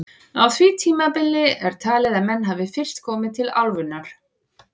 Á því tímabili er talið að menn hafi fyrst komið til álfunnar.